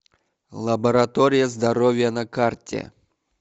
лаборатория здоровья на карте